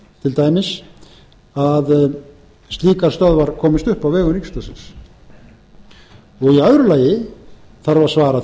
til dæmis að slíkar stöðvar komist upp á vegum ríkisútvarpsins í öðru lagi þarf að svara